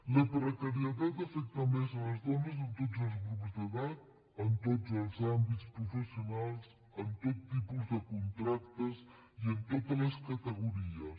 la precarietat afecta més les dones en tots els grups d’edat en tots els àmbits professionals en tot tipus de contractes i en totes les categories